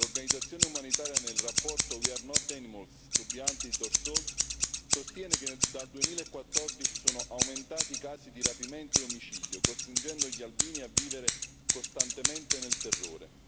L'Organizzazione umanitaria, nel rapporto We are not animals to be hunted or sold sostiene che dal 2014 sono aumentati i casi di rapimento e omicidio, costringendo gli albini a vivere costantemente nel terrore.